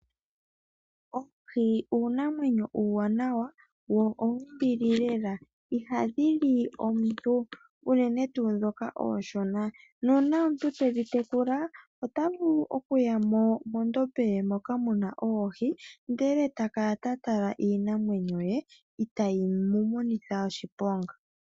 Oohi uunamwenyo uuwanawa wo owombili lela ihadhili omuntu Unene tuu mboka uushona. Uuna omuntu tedhi tekula otavulu okuyamo mondombe ye moka muna oohi ndele takala tatala iinamwenyo ye itayi mumonitha oshiponga.